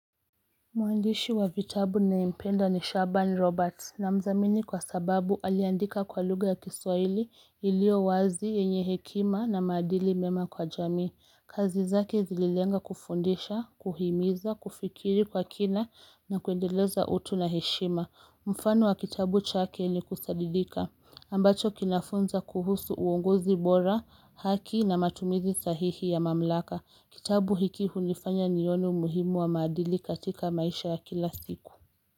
Mwandishi wa vitabu ninayempenda ni Shaban Roberts ninamdhamini kwa sababu aliandika kwa lugha ya kiswahili ilio wazi yenye hekima na maadili mema kwa jamii. Kazi zake zililenga kufundisha, kuhimiza, kufikiri kwa kina na kuendeleza utu na heshima. Mfano wa kitabu chake ni kusadidika. Ambacho kinafunza kuhusu uongozi bora, haki na matumizi sahihi ya mamlaka. Kitabu hiki hunifanya nione umuhimu wa maadili katika maisha ya kila siku.